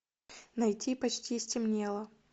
найти почти стемнело